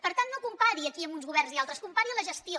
per tant no compari aquí uns governs i altres compari’n la gestió